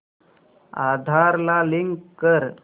आधार ला लिंक कर